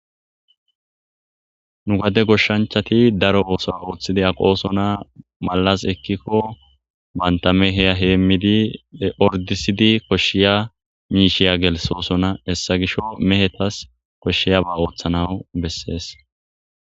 Nu gadde goshshanchati daaro osso oththidi aqqoson malas ekiko bantta mehe hemmidi oordisidi koshshiya mishsha giya gelssosoa hessa gishshawu mehetayo koshshiyaba oththanawu besses.